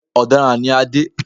Ọ̀daràn ni Adé